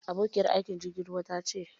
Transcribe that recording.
Abokiyar aikin jirgin ruwa ta ce.